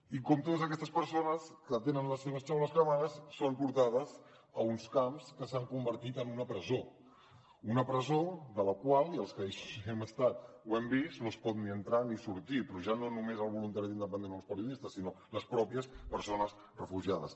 i com totes aquestes persones que tenen les seves xaboles cremades són portades a uns camps que s’han convertit en una presó una presó de la qual i els que hi hem estat ho hem vist no es pot ni entrar ni sortir però ja no només el voluntari independent o els periodistes sinó les pròpies persones refugiades